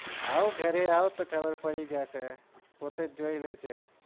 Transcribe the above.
આવો ઘરે આવો તો ખબર પડી જશે પોતે જ જોઈ લેજે